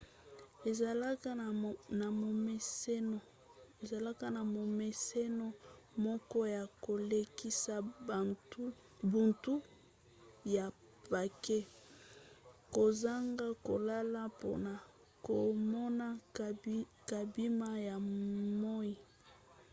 ezalaka na momeseno moko ya kolekisa butu ya pake kozanga kolala mpona komona kobima ya moi